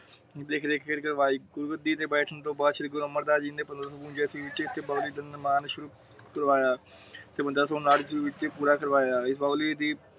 ਪੰਦ੍ਰਹ ਸੋ ਨਾਟ ਈਸਵੀ ਵਿਚ ਇੱਕ ਬੁਰਾ ਸੱਦਾ ਆਇਆ ।